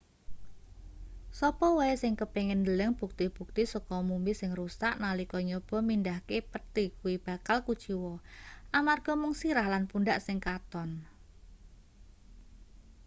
sapa wae sing kepingin ndeleng bukti-bukti saka mumi sing rusak nalika nyoba mindhahke pethi kuwi bakal kuciwa amarga mung sirah lan pundhak sing katon